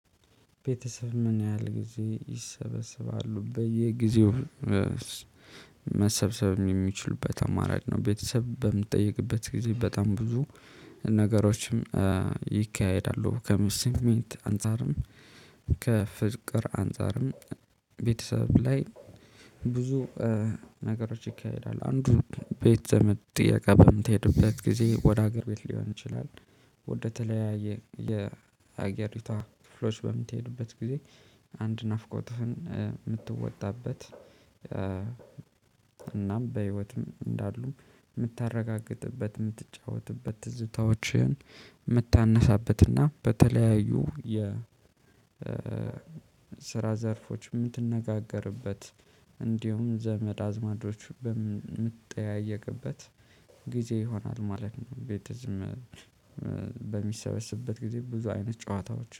ቤተሰብ? ምን ያህል ጊዜ ይሰበሰባሉ በየጊዜው መሰብሰብ የሚችሉበት አማራጭ ነው። ቤተሰብ በምጠይቅበት ጊዜ በጣም ብዙ ነገሮችም ይካሄዳሉ ከስሜት አንፃርም ከፍቅር አንፃርም ቤተሰብ ላይ ብዙ ነገሮች ይካሄዳል። አንዱ ቤት ዘመድ ጥየቃ በምትሄድበት ጊዜ ወደ ሀገር ቤት ሊሆን ይችላል። ወደተለያየ የሀገሪቷ ክፍሎች በምትሄዱበት ጊዜ አንድ ናፍቆትህን የምትወጣበት እናም በህይወትም እንዳሉ የምታረጋግጥበት የምትጫወትበት ትዝታዎችን የምታነሳበትና በተለያዩ የ ስራ ዘርፎች የምትነጋገርበት እንዲሁም ዘመድ አዝማዶች የምትጠያየቅበት ጊዜ ይሆናል ማለት ነው። ቤተሰብ በሚሰበስበት ጊዜ ብዙ አይነት ጨዋታዎች